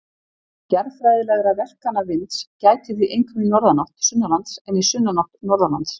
Jarðfræðilegra verkana vinds gætir því einkum í norðanátt sunnanlands en í sunnanátt norðanlands.